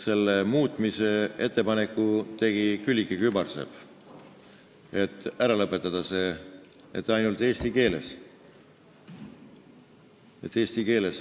Selle muutmise ettepaneku tegi Külliki Kübarsepp, et see ära lõpetada ja et saaks teha ainult eesti keeles.